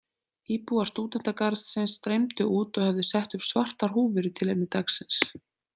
Íbúar stúdentagarðsins streymdu út og höfðu sett upp svartar húfur í tilefni dagsins.